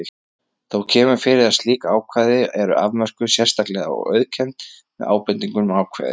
Þó kemur fyrir að slík ákvæði eru afmörkuð sérstaklega og auðkennd með ábendingunni ákvæði